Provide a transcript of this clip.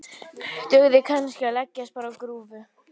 Dugði kannski að leggjast bara á grúfu?